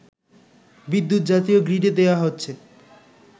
বিদ্যুৎ জাতীয় গ্রিডে দেয়া হচ্ছে